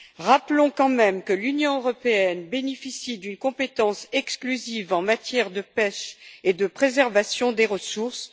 Rappelons quand même que l'Union européenne bénéficie d'une compétence exclusive en matière de pêche et de préservation des ressources.